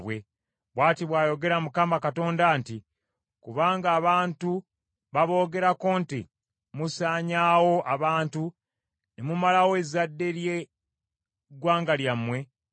“ ‘Bw’ati bw’ayogera Mukama Katonda nti, Kubanga abantu baboogerako nti, “Musaanyaawo abantu ne mumalawo ezzadde lye ggwanga lyammwe,”